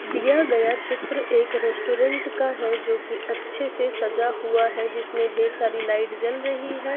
दिया गया चित्र एक रेस्टोरेंट का है जो कि अच्छे से सजा हुआ है जिसमें ढेर सारी लाइट जल रही है।